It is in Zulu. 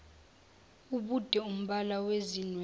ubude umbala wezinwele